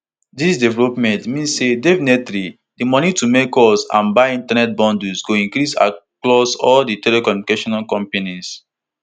dis development mean say definitely di money to make calls and buy internet bundles go increase across all di telecommunication companies